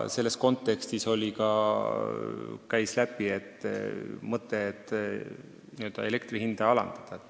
Selles kontekstis käis läbi mõte elektri hinda alandada.